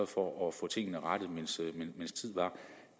for at få tingene rettet mens tid var